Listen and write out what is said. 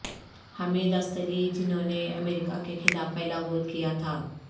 Hamid Estili جنھوں نے امریکہ کے خلاف پہلا گول کیا تھا